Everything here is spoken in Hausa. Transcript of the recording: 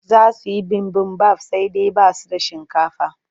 Za su yi bibimbaf sai dai ba su da shinkafa.